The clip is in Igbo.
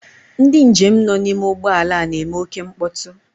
Ndị njem nọ n'ime ụgbọala a na-eme oké mkpọtụ.